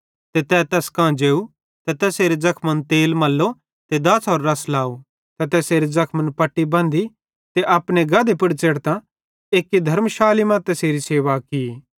ते तै तैस कां जेव ते तैसेरे ज़खमन तेल मल्लो ते दाछ़ोरो रस लाव ते तैसेरे ज़खमन पट्टी बंधी ते अपने गधे पुड़ च़ेढ़तां एक्की धर्मशाली मां तैसेरी सेवा की